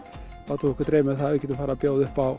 látum við okkur dreyma um að geta boðið upp á